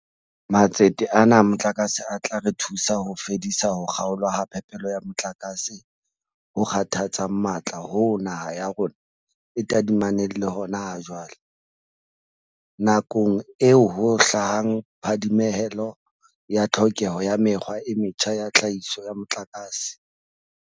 Matsete ana a motlakase a tla re thusa ho fedisa ho kga olwa ha phepelo ya motlakase ho kgathatsang matla hoo naha ya rona e tadimaneng le hona ha jwale, nakong eo ho hlahang phadimehelo ya tlhokeho ya mekgwa e metjha ya tlhahiso ya motlakase.